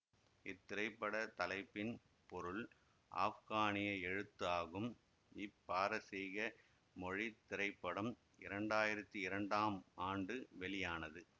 இத்திரைப்பட தலைப்பின் பொருள் ஆப்கானிய எழுத்து ஆகும் இப்பாரசீக மொழி திரைப்படம் இரண்டாயிரத்தி இரண்டாம் ஆண்டு வெளியானது